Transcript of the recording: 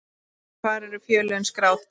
Hvar eru félögin skráð?